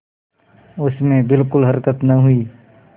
उसमें बिलकुल हरकत न हुई